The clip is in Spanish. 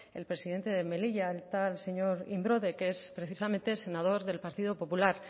el presidente de melilla el tal señor imbroda que es precisamente senador del partido popular